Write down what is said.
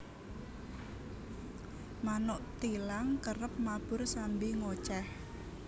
Manuk thilang kerep mabur sambi ngocèh